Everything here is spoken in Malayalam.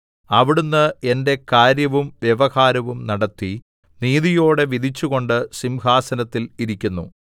അവിടുന്ന് എന്റെ കാര്യവും വ്യവഹാരവും നടത്തി നീതിയോടെ വിധിച്ചുകൊണ്ട് സിംഹാസനത്തിൽ ഇരിക്കുന്നു